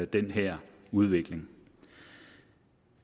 den her udvikling